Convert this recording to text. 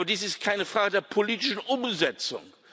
Aber dies ist keine Frage der politischen Umsetzung.